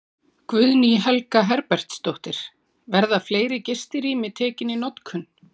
Guðný Helga Herbertsdóttir: Verða fleiri gistirými tekin í notkun?